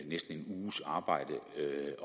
næsten en uges arbejde